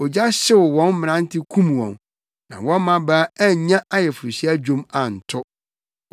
Ogya hyew wɔn mmerante kum wɔn, na wɔn mmabaa annya ayeforohyia dwom anto;